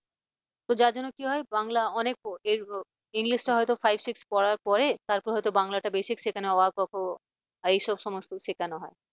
তো যার জন্য কি হয় বাংলা অনেক english হয়তো five six পড়ার পরে তারপর হয়তো বাংলাটা basic শেখানো হয় অ আ ক খ আর এই সমস্ত কিছু শেখানো হয়।